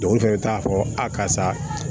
Dɔw fɛnɛ t'a fɔ a karisa